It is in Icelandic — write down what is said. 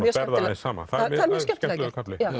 aðeins saman það er mjög skemmtilega gert